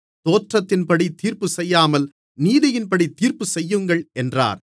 தோற்றத்தின்படி தீர்ப்பு செய்யாமல் நீதியின்படி தீர்ப்பு செய்யுங்கள் என்றார்